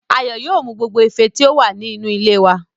Ayọ̀ yóò mú gbogbo ife tí ó wà ní inú ilé wá